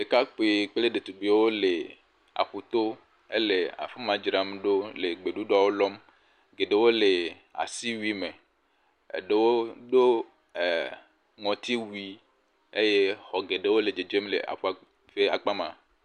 Ɖekakpui kple ɖetugbuiwo le aƒuto ele afi ma dzram ɖo le gbeɖuɖɔ lɔm, geɖewo le asi wui me eɖewo ɖo ŋɔti wui eye xɔ geɖewo le dzedzem le aƒua ƒe akpa ma.